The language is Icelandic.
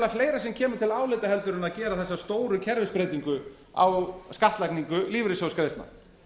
fleira sem kemur til álita heldur en að gera þessa stóru kerfisbreytingu á skattlagningu lífeyrissjóðsgreiðslna